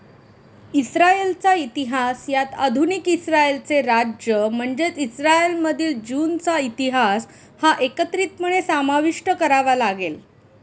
इस्रायलचा इतिहास यात आधुनिक इस्रायलचे राज्य म्हणजेच इस्रायलमधील ज्यूंचा इतिहास हा एकत्रितपणे समाविष्ट करावा लागेल.